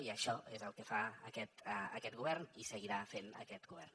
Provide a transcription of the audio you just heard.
i això és el que fa aquest govern i seguirà fent aquest govern